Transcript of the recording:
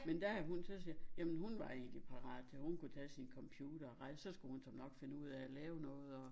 Men der er det hun så siger jamen hun var ikke parat og hun kunne tage sin computer og rejs så skulle hun så nok finde ud af at lave noget og